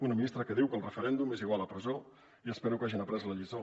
una ministra que diu que el referèndum és igual a presó i espero que hagin après la lliçó